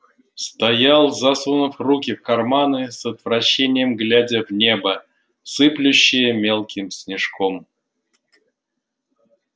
стоял засунув руки в карманы с отвращением глядя в небо сыплющее мелким снежком